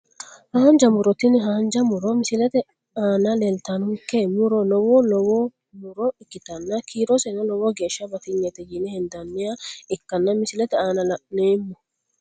Haanja muro tini haanja muro misilete aanaleeltawonke muro lowo lowo muro ikitana kiiroseno lowo geesha batiynete yine hendaniha ikana misilete aana la`noomo.